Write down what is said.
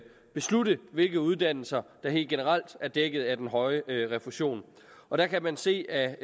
beslutte hvilke uddannelser der helt generelt er dækket af den høje refusion og der kan man se af